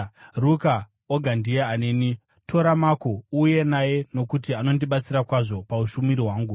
Ruka oga ndiye aneni. Tora Mako uuye naye, nokuti anondibatsira kwazvo paushumiri hwangu.